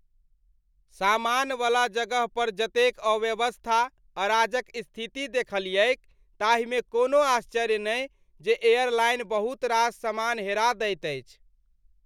सामानवला जगह पर जतेक अव्यवस्था, अराजक स्थिति देखलियैक ताहिमे कोनो आश्चर्य नहि जे एयरलाइन बहुत रास सामान हेरा दैत अछि।